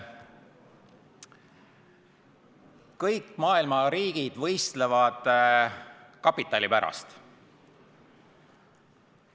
Kõik maailma riigid võistlevad kapitali pärast.